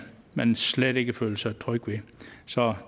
man slet ikke føler sig tryg ved så